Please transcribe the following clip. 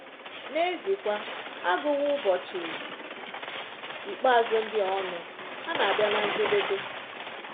N’eziekwa, a gụwo ụbọchị ikpeazụ ndị a ọnụ; ha na-abịa ná njedebe.